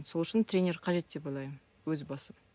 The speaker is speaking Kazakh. сол үшін тренер қажет деп ойлаймын өз басым